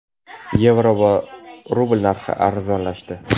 yevro va rubl narxi arzonlashdi.